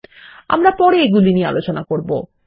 আমরা পরে এগুলি নিয়ে আলোচনা করব